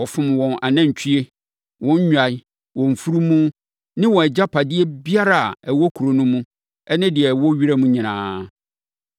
Wɔfom wɔn anantwie, wɔn nnwan, wɔn mfunumu ne wɔn agyapadeɛ biara a ɛwɔ kuro no mu ne deɛ ɛwɔ wiram nyinaa.